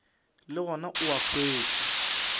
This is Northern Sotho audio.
le gona o a hwetšwa